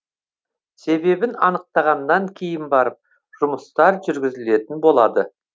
себебін анықтағаннан кейін барып жұмыстар жүргізілетін болады